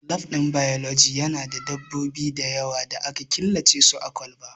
Lab ɗin biology Yana da dabbobi da yawa da aka killace su a kwalba